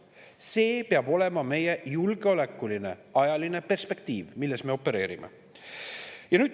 See peab olema meie julgeolekuline ajaline perspektiiv, milles me opereerime.